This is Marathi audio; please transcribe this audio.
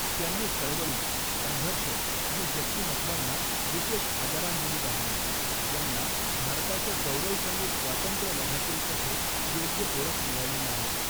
त्यांनी चळवळी, संघर्ष आणि व्यक्तिमत्त्वांना विशेष आदरांजली वाहिली, ज्यांना भारताच्या गौरवशाली स्वातंत्र्यलढय़ातील कथेत योग्य ओळख मिळाली नाही.